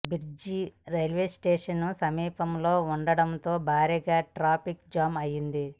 bridge railway స్టేషన్కు సమీపంలో ఉండటంతో భారీగా ట్రాఫిక్ జామ్ అయింది